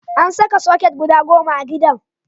An saka soket guda goma a gidan.